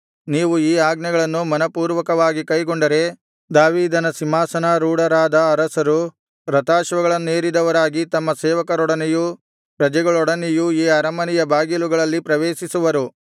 ನೀವು ಈ ಆಜ್ಞೆಗಳನ್ನು ಮನಃಪೂರ್ವಕವಾಗಿ ಕೈಗೊಂಡರೆ ದಾವೀದನ ಸಿಂಹಾಸನಾರೂಢರಾದ ಅರಸರು ರಥಾಶ್ವಗಳನ್ನೇರಿದವರಾಗಿ ತಮ್ಮ ಸೇವಕರೊಡನೆಯೂ ಪ್ರಜೆಗಳೊಡನೆಯೂ ಈ ಅರಮನೆಯ ಬಾಗಿಲುಗಳಲ್ಲಿ ಪ್ರವೇಶಿಸುವರು